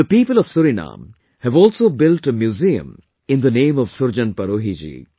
The people of Suriname have also built a museum in the name of Surjan Parohi ji